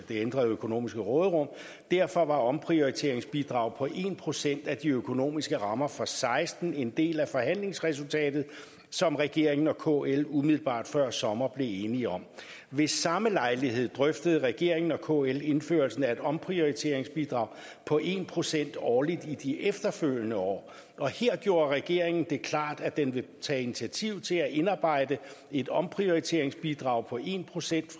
det ændrede økonomiske råderum derfor var omprioriteringsbidraget på en procent af de økonomiske rammer for seksten en del af forhandlingsresultatet som regeringen og kl umiddelbart før sommer blev enige om ved samme lejlighed drøftede regeringen og kl indførelsen af et omprioriteringsbidrag på en procent årligt i de efterfølgende år og her gjorde regeringen det klart at den vil tage initiativ til at indarbejde et omprioriteringsbidrag på en procent